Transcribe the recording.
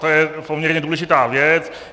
To je poměrně důležitá věc.